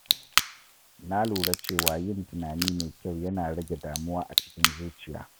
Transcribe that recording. Na lura cewa yin tunani mai kyau yana rage damuwa a cikin zuciya.